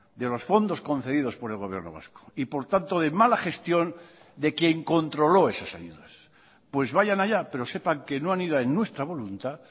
de los fondos concedidos por el gobierno vasco y por tanto de mala gestión de quien controló esas ayudas pues vayan allá pero sepan que no han ido en nuestra voluntad